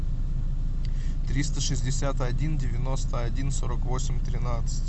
триста шестьдесят один девяносто один сорок восемь тринадцать